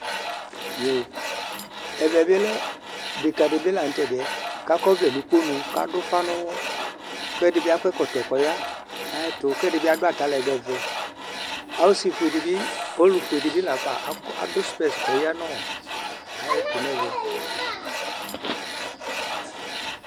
ɛvɛ bi lɛ deka di bi lantɛdiɛ ko akɔ ɔvlɛ no ukponu ko ado ufa no uwɔ ko ɛdi bi akɔ ɛkɔtɔ ko ɔya no ayɛto ko ɛdi bi ado atalɛgbɛ vɛ ɔse fue di bi ɔlo fue di bi lafa akɔ ado spɛs ko ɔya no ayɛto no ɛvɛ